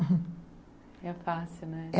Era fácil, né?